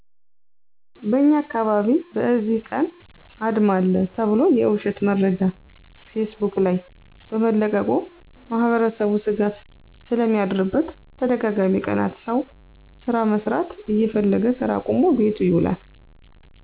በእኛ አካባቢ በእዚህ ቀን አድማ አለ ተብሎ የዉሸት መረጃ ፌስቡክ ላይ በመለቀቁ ማህበረሰቡ ስጋት ስለሚያድርበት ተደጋጋሚ ቀናት ሰዉ ስራ መስራት እየፈለገ ስራ አቁሞ ቤቱ ይዉላል።